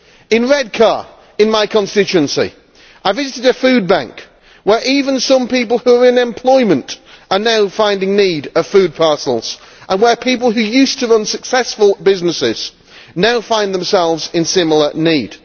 In Redcar, in my constituency, I visited a food bank where even some people who are in employment are now finding need of food parcels and where people who used to run successful businesses now find themselves in similar need.